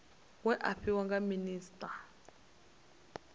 we a fhiwa nga minisita